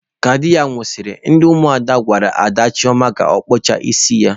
Ka di ya nwusiri, ndi umuada gwara daa Chioma ka okpucha isi ya.